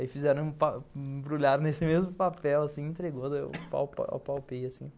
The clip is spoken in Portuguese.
Aí fizeram, embrulharam nesse mesmo papel assim, entregou, daí eu palpei assim.